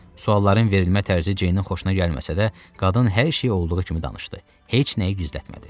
Sualların verilmə tərzi Jeynin xoşuna gəlməsə də, qadın hər şeyi olduğu kimi danışdı, heç nəyi gizlətmədi.